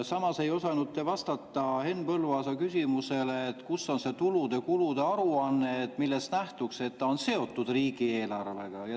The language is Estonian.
Samas ei osanud te vastata Henn Põlluaasa küsimusele, kus on tulude-kulude aruanne, millest nähtuks, et eelnõu on seotud riigieelarvega.